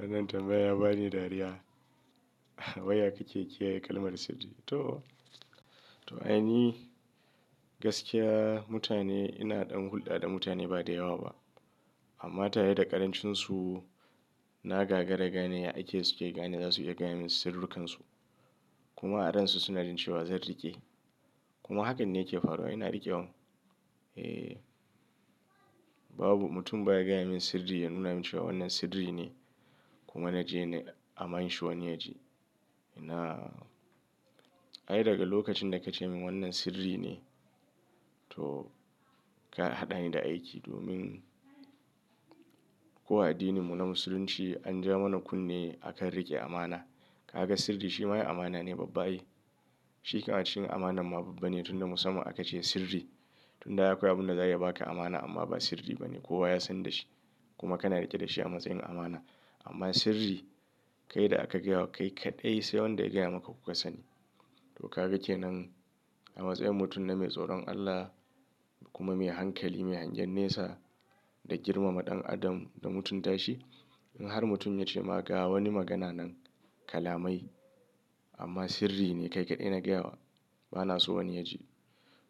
Wannan tambaya ya bani dariya. Waya kake kiyaye kalmar sirri? To, to ainihi gaskiya mutane ina ɗan hulɗa da mutane ba da yawa ba. Amma tare da ƙarancinsu na gagara ga ne ya aike su ke gane za su iya gaya min sirri kansu. Kuma a ransu suna jin cewa zan riƙe. Kuma hakan ne yake faruwa ina riƙe wan. Eh, babu mutum baya gaya min sirri ya nuna min cewa wannan sirri ne kuma na je nai amanshi wani ya ji. Ina, ai daga lokacin da ka ce min wannan sirri ne to ka haɗani da aiki domin kowa addininmu na Musulunci an ja mana kunne akan riƙe amana. Ka ga sirri shi ma ya amana ne babba ai. Shi kam a cikin amanan ma babba ne tun da musamman aka ce sirri. Tun da ai akwai abin da zai iya ba ka amana amma ba sirri ba ne kowa ya san da shi kuma kana riƙe da shi a matsayin amana. Amma sirri kai da aka gaya wa kai kaɗai sai wanda ya gaya maka kuka sani. To ka ga ke nan a matsayin mutum na mai tsoron Allah kuma mai hankali mai hangen nesa da girmama ɗan adam da mutunta shi. In har mutum ya ce ma ka wani magana nan kalamai amma sirri ne kai kaɗai na gayawa bana so wani ya ji.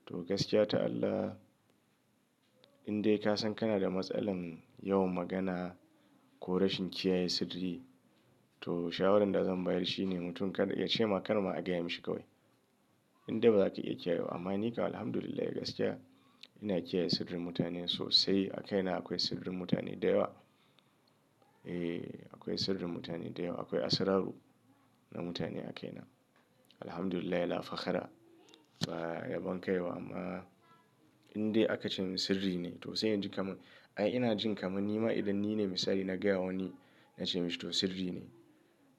To gaskiya ta Allah indai ka san kana da matsalar yawan magana ko rashin kiyaye sirri to shawarar da zan bayar shi ne mutum kada ya ce ma karma a gaya mishi kawai. Indai ba za ka iya kiyayewa amma ni kam Alhamdulillah ya gaskiya ina kiyaye sirrin mutane sosai. A kaina akwai sirrin mutane da yawa. Eh, akwai sirrin mutane da yawa. Akwai asararu na mutane a kaina. Alhamdulillah la fakhara. Ba ya ban kai ba amma indai aka ce min sirri ne to sai in ji kaman ai ina jin kaman nima idan ni ne misali na gaya wa wani na ce mishi to sirri ne.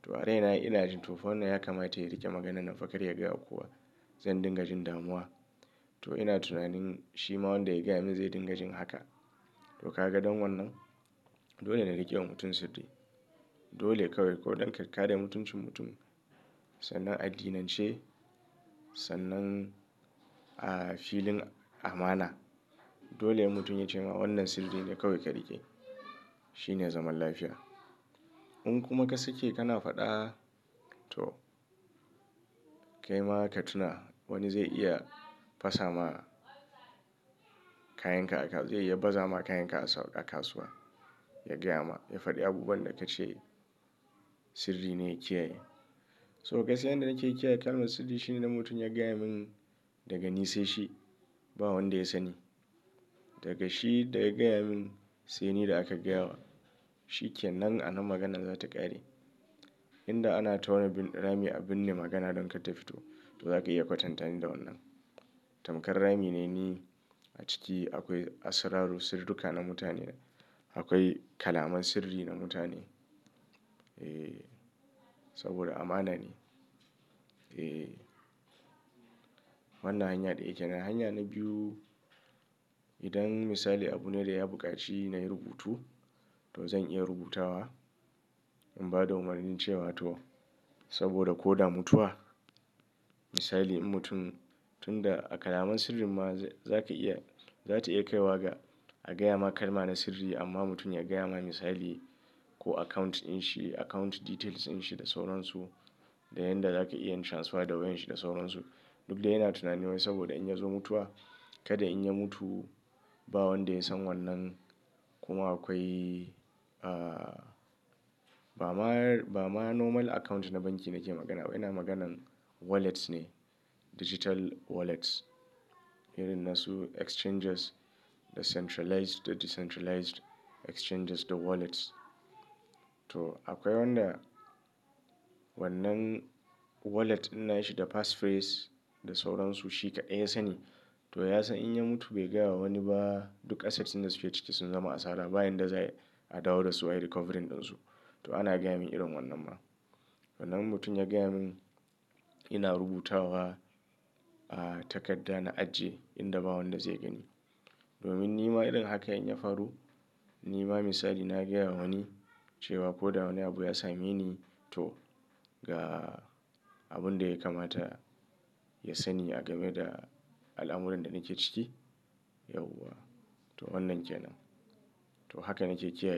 To a rai na ina jin to fa wannan ya kamata ya riƙe maganan nan fa karya ya gaya wa kowa zan dinga jin damuwa. To ina tunanin shi ma wanda ya gaya min zai dinga jin haka. To ka ga don wannan dole na riƙe wa mutum sirri. Dole kawai ko ɗan kakkaya da mutuncin mutum sannan addinance sannan a filin amana. Dole mutum ya ce ma wannan sirri ne kawai ka riƙe. Shi ne zaman lafiya. In kuma ka sake kana faɗa to kai ma ka tuna wani zai iya fasa ma kayan ka a ka, ya baza ma kayan ka a kasuwa, ya gaya ma ya faɗi abubuwan da ka ce sirri ne ya kiyaye. So gaskiya inda nake kiyaye kalmar sirri shi ne na mutum ya gaya mun daga ni sai shi ba wanda ya sani. Daga shi da ya gaya mun sai ni da aka gaya wa. Shi ke nan a nan maganan za ta ƙare. Inda ana tauna bin rami a binne magana don kar ta fito to za ka iya kwatantani da wannan. Tamkar rami ne ni a ciki akwai asararu sirruka na mutane akwai kalaman sirri na mutane. Eh, saboda amana ne. Eh, wannan hanya ɗaya kenan. Hanya na biyu idan misali abune da ya buƙaci nayi rubutu to zan iya rubutawa in ba da umarnin cewa to saboda ko da mutuwa misali in mutum tun da a kalaman sirrin ma za ka iya za ta iya kaiwa ga a gaya ma kalma na sirri amma mutum ya gaya ma misali ko account in shi account details in shi da sauransu da yanda za ka iya yin transfer da wayan shi da sauransu. Duk dai yana tunani wai saboda in ya zo mutuwa kada in ya mutu ba wanda ya san wannan kuma akwai a ba ma ba ma normal account na banki nake magana ba ina maganan wallets ne digital wallets. Irin nasu exchanges da centralized da decentralized exchanges da wallets. To akwai wanda wannan wallet in nayi shi da passphrase da sauransu shi kaɗai ya sani. To ya san in ya mutu bai gaya wa wani ba duk assets ɗin da suke ciki sun zama asara bayan da zai a dawo da su a yi recovering ɗinsu. To ana gaya min irin wannan ma. Sannan in mutum ya gaya mun ina rubutawa a takadda na ajiye inda ba wanda zai gani. Domin nima irin haka in ya faru nima misali na gaya wa wani cewa ko da wani abu ya same ni to ga abun da ya kamata ya sani a game da al'amuran da nake ciki yauwa. To wannan ke nan. To haka nake kiyaye.